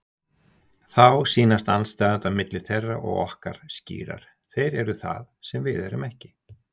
Þá sýnast andstæðurnar milli þeirra og okkar skýrar: Þeir eru það sem við erum ekki.